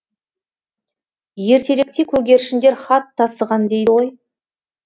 ертеректе көгершіндер хат тасыған дейді ғой